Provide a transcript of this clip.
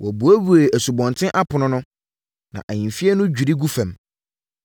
Wɔbuebue asubɔnten apono no, na ahemfie no dwiri gu fam.